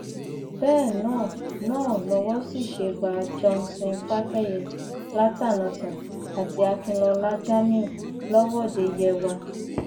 bẹẹ náà náà lowó sì ṣe bá johnson fakeye latànọtá àti akinlọlá jamiu lọwọde yewa